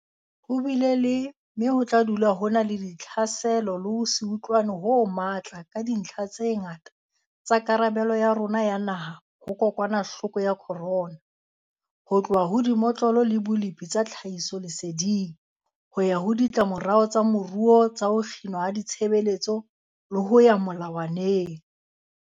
Ho bile le, mme ho tla dula ho na le, ditlhaselo le ho se utlwane ho matla ka dintlha tse ngata tsa karabelo ya rona ya naha ho kokwanahloko ya corona, ho tloha ho dimotlolo le bolepi tsa tlhahisoleseding, ho ya ho ditlamorao tsa moruo tsa ho kginwa ha ditshebeletso le ho ya melawaneng.